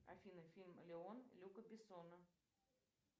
афина фильм леон люка бессона